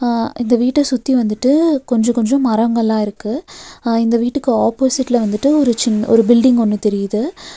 அ இந்த விட்ட சுத்தி வந்துட்டு கொஞ்ஜோ கொஞ்ஜோ மரங்கள்ளா இருக்கு அ இந்த வீட்டுக்கு ஆப்போசிட்ல வந்துட்டு ஒரு சின் ஒரு பீல்டிங் ஒன்னு தெரியிது.